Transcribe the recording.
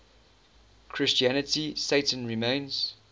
christianity satan remains